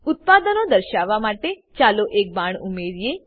ઉત્પાદનો દર્શાવવા માટે ચાલો એક બાણ ઉમેરીએ